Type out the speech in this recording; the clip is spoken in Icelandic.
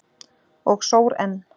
Og sór enn.